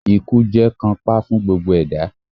Ikú jẹ́ kànńpá fún gbogbo ẹ̀dá